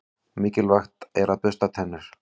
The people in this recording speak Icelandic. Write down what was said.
Mikilvægt er að bursta tennur.